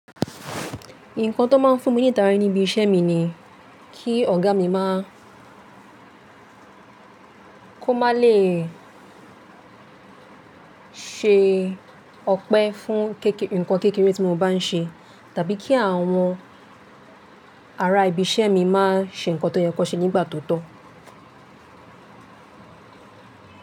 Nǹkan tó máa ń fún mi ní ìtàrí níbi iṣẹ́ mi ni kí ọ̀gá mi máa, kó máa le ṣe ọpẹ́ fún ǹkan kékeré tí mo bá ń ṣe tàbí kí àwọn ará ibi iṣẹ́ mi máa ṣe ǹkan tó yẹ kó ṣe nígbà tó tọ́.